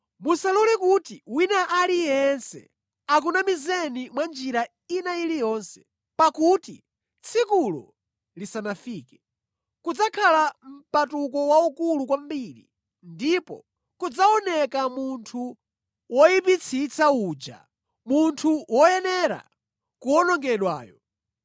Musalole kuti wina aliyense akunamizeni mwa njira ina iliyonse. Pakuti tsikulo lisanafike, kudzakhala mpatuko waukulu kwambiri, ndipo kudzaoneka munthu woyipitsitsa uja, munthu woyenera kuwonongedwayo.